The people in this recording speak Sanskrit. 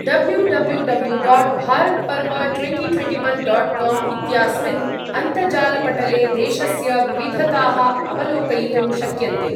W W W dot Bharatparv twenty twenty one dot com इत्यास्मिन् अन्तजालपटले देशस्य विविधताः अवलोकयितुं शक्यन्ते।